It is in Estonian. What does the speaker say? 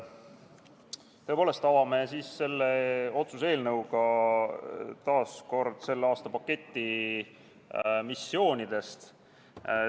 Tõepoolest, avame siis selle otsuse eelnõuga taas kord selle aasta missioonide paketi.